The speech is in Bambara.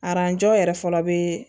Aranjɔ yɛrɛ fɔlɔ bee